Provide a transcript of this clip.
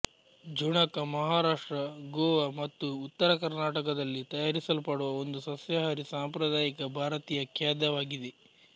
ಝುಣಕ ಮಹಾರಾಷ್ಟ್ರ ಗೋವಾ ಮತ್ತು ಉತ್ತರ ಕರ್ನಾಟಕದಲ್ಲಿ ತಯಾರಿಸಲ್ಪಡುವ ಒಂದು ಸಸ್ಯಾಹಾರಿ ಸಾಂಪ್ರದಾಯಿಕ ಭಾರತೀಯ ಖಾದ್ಯವಾಗಿದೆ